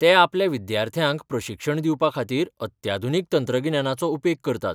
ते आपल्या विद्यार्थ्यांक प्रशिक्षण दिवपा खातीर अत्याधुनीक तंत्रगिन्यानाचो उपेग करतात.